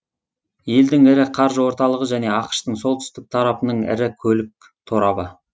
елдің ірі қаржы орталығы және ақш тың солтүстік тарапының ірі көлік торабы